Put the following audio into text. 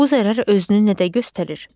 Bu zərər özünü nə də göstərir?